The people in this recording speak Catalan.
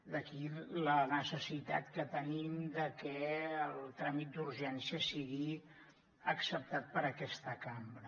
d’aquí la necessitat que tenim de que el tràmit d’urgència sigui acceptat per aquesta cambra